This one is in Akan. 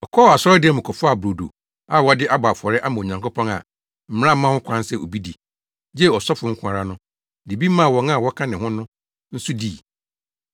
Ɔkɔɔ asɔredan mu kɔfaa brodo a wɔde abɔ afɔre ama Onyankopɔn a mmara mma ho kwan sɛ obi di, gye asɔfo nko ara no, de bi maa wɔn a wɔka ne ho no nso dii.”